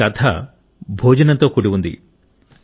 మీ కథ భోజనంతో కూడి ఉంది